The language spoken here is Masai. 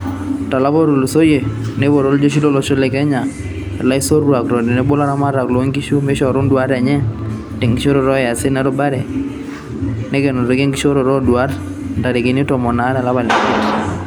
Tolapa otulusoyia, neipoto iljeshi lolosho le Kenya ilaisotuak otenebo laramataka loonkishu meishoru induat enye tenkishoroto oosiatin erubare, nekenoki enkishooroto oo duata ntarikini tomon aare olapa leimiat.